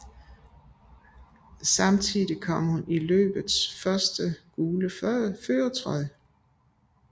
Samtidig kom hun i løbets første gule førertrøje